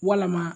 Walama